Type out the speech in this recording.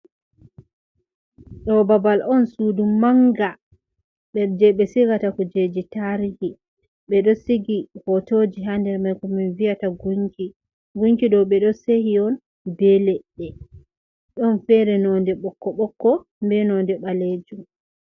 Ɗo babal on sudu manga, jei ɓe sigata kujeji tarihi. Ɓe ɗo sigi hotoji hander mai ko min vi'ata gunki. Gunki ɗo ɓe ɗo sehi'on be leɗɗe. Ɗon fere nonde bokko-bokko be nonde ɓalejum.